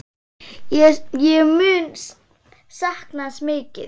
Ég mun sakna hans mikið.